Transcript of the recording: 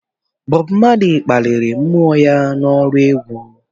Bob Marley kpaliri mmou ya n'ọrụ egwu